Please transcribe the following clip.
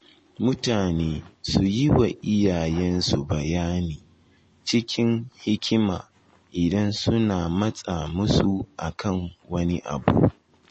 Mutane su yi wa iyayensu bayani cikin hikima idan suna matsa musu akan wani abu.